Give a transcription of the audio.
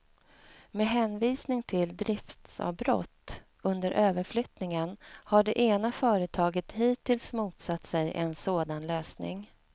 Med hänvisning till driftsavbrott under överflyttningen har det ena företaget hittills motsatt sig en sådan lösning.